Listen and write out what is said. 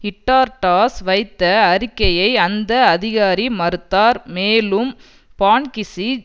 இட்டார்டாஸ் வைத்த அறிக்கையை அந்த அதிகாரி மறுத்தார் மேலும் பான்க்கிசி